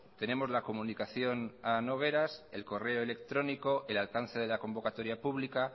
tenemos la comunicación a nogueras el correo electrónico el alcance de la convocatoria pública